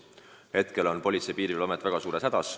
Praegu on Politsei- ja Piirivalveamet väga suures hädas.